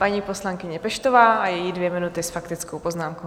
Paní poslankyně Peštová a její dvě minuty s faktickou poznámkou.